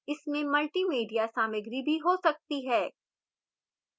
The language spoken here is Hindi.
इसमें multimedia सामग्री भी हो सकती है